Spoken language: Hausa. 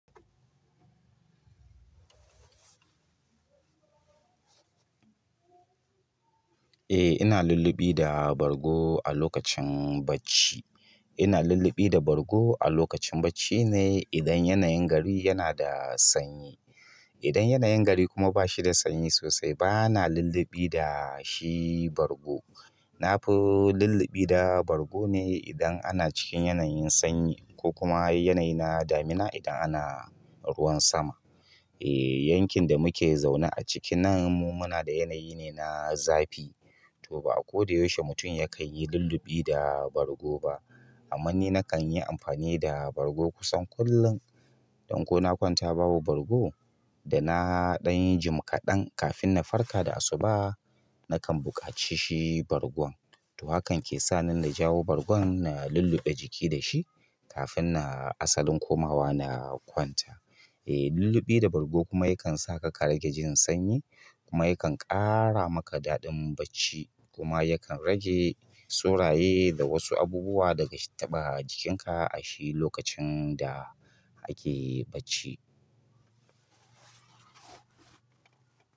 Eh ina lulluɓi da bargo a lokacin bacci. Ina lulluɓi da bargo a lokacin bacci ne idan yanayin gari yana da sanyi. Idan yanayin gari kuma bashida sanyi sosai bana luluɓi da shi bargo na fi lulluɓi da bargo ne idan ana cikin yanayin sanyi ko kuma yanayi na damina idan ana ruwan sama. Eh yankin da muke zaune a ciki nan mu muna da yanayi ne na zafi, to ba a ko da yaushe mutum yakan yi lulluɓi da bargo ba. Amma ni kan yi amfani da bargo kusan kullum dan kona kwanata babu bargo dana ɗan yi jim kaɗan kafinna farka da asuba nakan buƙaci shi bargon. To hakan ke sa nina jawo bargon na lulluɓe jiki da shi kafin na asalin komawa na kwanta. Eh lulluɓi da bargo kuma yakan sa ka rage jin sanyi kuma yakan ƙara maka daɗin bacci kuma yakan rage soraye da wasu abubuwa daga taɓa jikinka a shi lokacin da ake bacci.